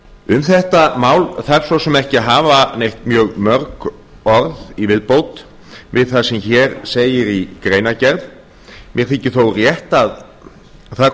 um þetta mál þarf svo sem ekki að hafa neitt mjög mörg orð í viðbót við það sem hér segir í greinargerð mér þykir þó rétt að það